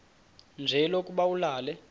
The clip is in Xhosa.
nje lokuba ulale